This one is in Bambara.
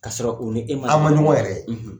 Ka sɔrɔ u ni e ma, a ma ɲɔgɔn yɛrɛ ye